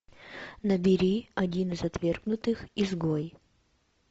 набери один из отвергнутых изгой